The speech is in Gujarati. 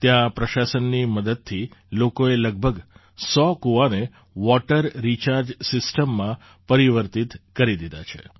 ત્યાં પ્રશાસનની મદદથી લોકોએ લગભગ સો કુવાને વૉટર રિચાર્જ સિસ્ટમમાં પરિવર્તિત કરી દીધા છે